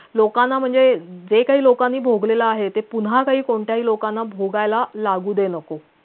लोकांना म्हणजे जे काही लोकांनी भोगलेलं आहे ते पुन्हा काही कोणत्याही लोकांना भोगायला लागू दे नको